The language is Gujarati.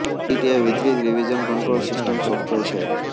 ગીટ એ વિતરિત રીવિઝન કંટ્રોલ સિસ્ટમ સોફ્ટવેર છે